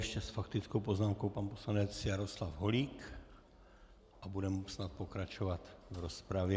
Ještě s faktickou poznámkou pan poslanec Jaroslav Holík a budeme snad pokračovat v rozpravě.